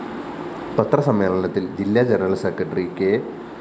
പത്രസമ്മേളനത്തില്‍ ജില്ലാ general secretary K